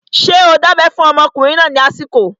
Ṣé o dábẹ́ fún ọmọkùnrin náà lásìkò?